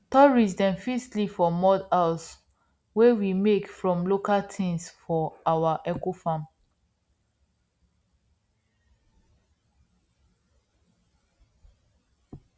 tourists dem fit sleep for mud house wey we make from local things for our ecofarm